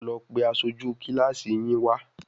Lọ pe aṣojú kílàsì yín wá?